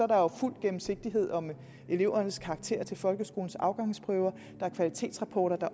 der jo fuld gennemsigtighed om elevernes karakterer til folkeskolens afgangsprøve der er kvalitetsrapporter og der